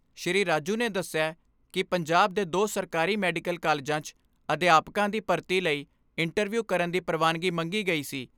ਸ੍ਰੀ ਰਾਜੂ ਨੇ ਦਸਿਆ ਕਿ ਪੰਜਾਬ ਦੇ ਦੋ ਸਰਕਾਰੀ ਮੈਡੀਕਲ ਕਾਲਜਾਂ 'ਚ ਅਧਿਆਪਕਾਂ ਦੀ ਭਰਤੀ ਲਈ ਇੰਟਰਵਿਊ ਕਰਨ ਦੀ ਪ੍ਰਵਾਨਗੀ ਮੰਗੀ ਗਈ ਸੀ।